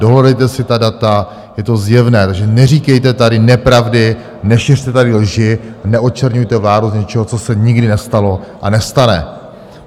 Dohledejte si ta data, je to zjevné, takže neříkejte tady nepravdy, nešiřte tady lži, neočerňujte vládu z něčeho, co se nikdy nestalo a nestane.